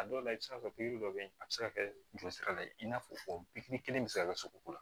A dɔw la i bɛ se ka kɛ pikiri dɔ bɛ ye a bɛ se ka kɛ joli sira la i n'a fɔ pikiri kelen bɛ se ka kɛ sogoko la